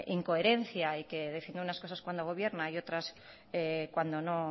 incoherencia y que defiende unas cosas cuando gobierna y otras cuando no